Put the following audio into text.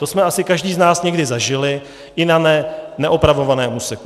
To jsme asi každý z nás někdy zažili i na neopravovaném úseku.